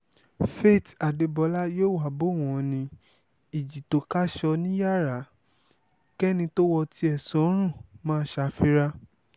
faith adébọlá yòówá bò wọ́n ní ìjì tó jà tó káṣọ ní yàrá kẹ́ni tó wọ tiẹ̀ sọ́rùn má ṣàfira